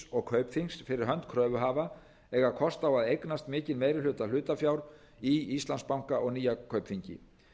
og kaupþings fyrir hönd kröfuhafa eiga kost á að eignast mikinn meiri hluta hlutafjár í íslandsbanka og nýja kaupþingi